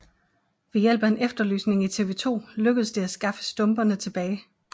Ved hjælp af en efterlysning i TV2 lykkedes det at skaffe stumperne tilbage